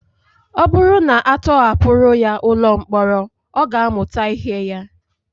Ọ bụrụ na a tọhapụrụ ya ụlọ mkpọrọ ọ ga-amụta ihe ya